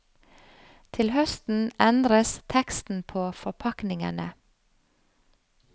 Til høsten endres teksten på forpakningene.